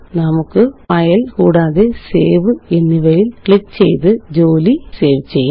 നമുക്ക്File കൂടാതെSave എന്നിവയില് ക്ലിക്ക് ചെയ്ത് ജോലി സേവ് ചെയ്യാം